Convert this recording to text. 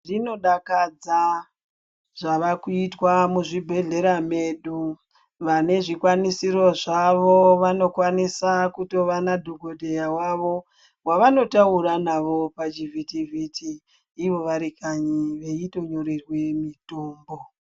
Zvino dakadza zvava kuitwa mu zvibhedhlera medu vane zvikwanisiro zvavo vano kwanisa kutova na dhokoteya wavo wavano taura navo pa chitivhiti vhiti ivo vari kanyi veito nyorerwe mitombo.